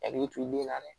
Hakili to i den na dɛ